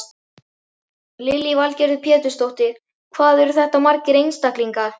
Lillý Valgerður Pétursdóttir: Hvað eru þetta margir einstaklingar?